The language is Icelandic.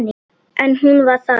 En hún var það.